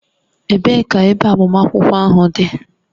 Ebee ka ebe agbamakwụkwọ ahụ dị?